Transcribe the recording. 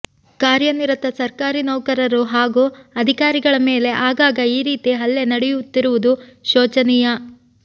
ಕಾರ್ಯನಿರತ ಸರ್ಕಾರಿ ನೌಕರರು ಹಾಗೂ ಅಧಿಕಾರಿಗಳ ಮೇಲೆ ಆಗಾಗ ಈ ರೀತಿ ಹಲ್ಲೆ ನಡೆಯುತ್ತಿರುವುದು ಶೋಚನೀಯ